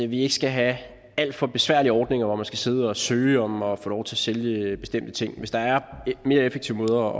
vi ikke skal have alt for besværlige ordninger hvor man skal sidde og søge om at få lov til at sælge bestemte ting hvis der er mere effektive måder